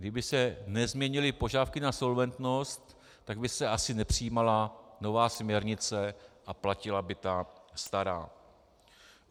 Kdyby se nezměnily požadavky na solventnost, tak by se asi nepřijímala nová směrnice a platila by ta stará.